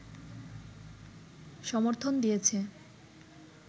সমর্থন দিয়েছে